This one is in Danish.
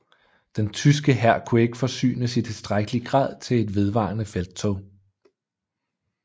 Den tyske hær kunne ikke forsynes i tilstrækkelig grad til et vedvarende felttog